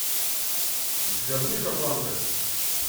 у тебя будет атланта